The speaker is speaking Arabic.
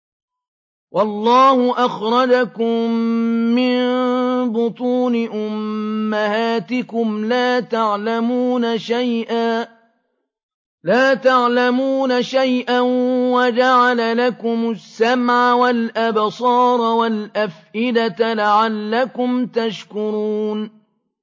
وَاللَّهُ أَخْرَجَكُم مِّن بُطُونِ أُمَّهَاتِكُمْ لَا تَعْلَمُونَ شَيْئًا وَجَعَلَ لَكُمُ السَّمْعَ وَالْأَبْصَارَ وَالْأَفْئِدَةَ ۙ لَعَلَّكُمْ تَشْكُرُونَ